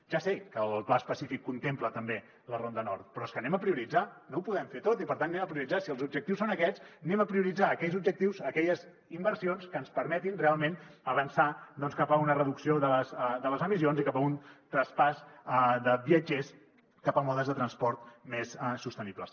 ja sé que el pla específic contempla també la ronda nord però és que prioritzem no ho podem fer tot i per tant prioritzem si els objectius són aquests prioritzem aquells objectius aquelles inversions que ens permetin realment avançar doncs cap a una reducció de les emissions i cap a un traspàs de viatgers cap a modes de transport més sostenibles